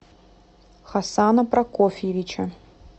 хасана прокофьевича